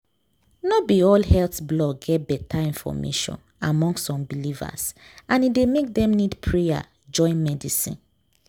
no be all health blog get better info among some believers and e dey make dem need prayer join medicine.